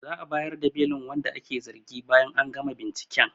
Za'a bayar da belin wanda ake zargi bayan an gama binciken